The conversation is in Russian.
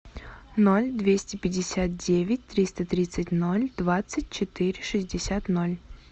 ноль двести пятьдесят девять триста тридцать ноль двадцать четыре шестьдесят ноль